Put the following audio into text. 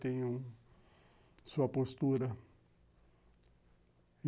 Tem um... sua postura.